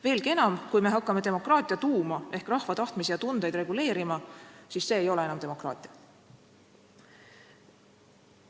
Veelgi enam, kui me hakkame demokraatia tuuma ehk rahva tahtmisi ja tundeid reguleerima, siis ei ole see enam demokraatia.